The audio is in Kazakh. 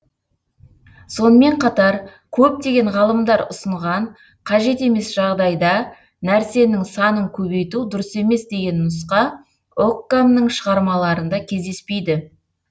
сонымен қатар көптеген ғалымдар ұсынған қажет емес жағдайда нәрсенің санын көбейту дұрыс емес деген нұсқа оккамның шығармаларында кездеспейді